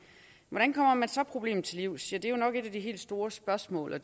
hvordan kommer man så problemet til livs ja det er jo nok et af de helt store spørgsmål og